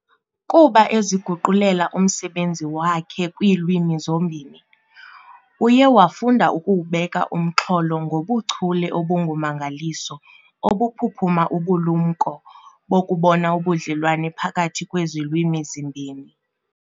Kuba eziguqulela umsebenzi wakhe kwiilwimi zombini, uye wafunda ukuwubeka umxholo ngobuchule obungummangaliso obuphuphuma ubulumnko bokubona ubudlelwane phakathi kwezi lwimi zimbini.